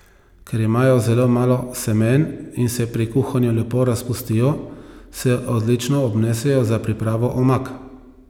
Ker imajo zelo malo semen in se pri kuhanju lepo razpustijo, se odlično obnesejo za pripravo omak.